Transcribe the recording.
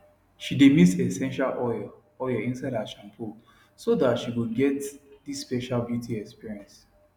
she dae mix essential oil oil inside her shampoo so that she go get this special beauty experience